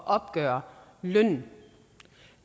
opgøre lønnen